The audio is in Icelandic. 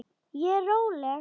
Ég er róleg.